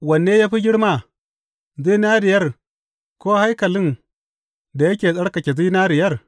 Wanne ya fi girma, zinariyar, ko haikalin da yake tsarkake zinariyar?